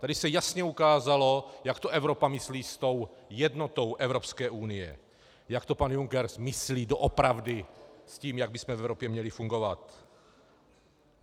Tady se jasně ukázalo, jak to Evropa myslí s tou jednotou Evropské unie, jak to pan Juncker myslí doopravdy s tím, jak bychom v Evropě měli fungovat.